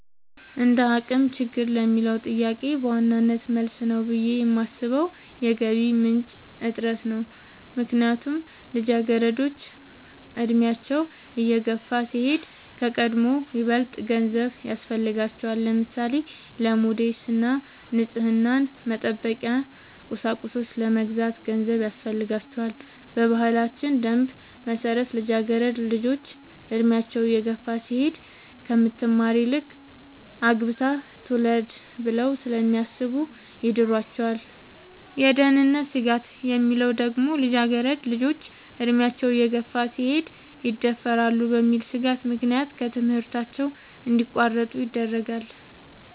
እንደአቅም ችግር ለሚለው ጥያቄ በዋናነት መልስ ነው ብሌ የማሥበው የገቢ ምንጭ እጥረት ነው። ምክንያቱም ልጃገረዶች አድሚያቸው እየገፋ ሲሄድ ከቀድሞው ይበልጥ ገንዘብ ያሥፈልጋቸዋል። ለምሳሌ:-ለሞዴስ እና ንፅህናን መጠበቂያ ቁሳቁሶች ለመግዛት ገንዘብ ያሥፈልጋል። በባህላችን ደንብ መሠረት ልጃገረድ ልጆች እድሚያቸው እየገፋ ሲሄድ ከምትማር ይልቅ አግብታ ትውለድ ብለው ስለሚያሥቡ ይድሯቸዋል። የደህንነት ስጋት የሚለው ደግሞ ልጃገረድ ልጆች አድሚያቸው እየገፋ ሲሄድ ይደፈራሉ በሚል ሥጋት ምክንያት ከትምህርታቸው እንዲያቋርጡ ይደረጋሉ።